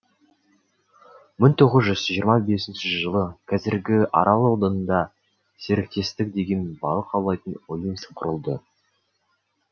мың тоғыз жүз жиырма бесінші жылы қазіргі арал ауданында серіктестік деген балық аулайтын ұйым құрылды